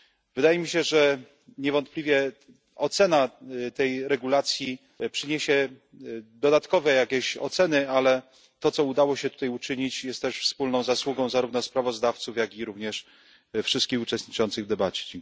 Wydaje mi się, że niewątpliwie ocena tej regulacji przyniesie dodatkowe jakieś oceny, ale to co udało się tutaj uczynić, jest też wspólną zasługą zarówno sprawozdawców, jak również wszystkich uczestniczących w debacie.